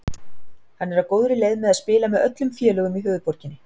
Hann er því á góðri leið með að spila með öllum félögum í höfuðborginni.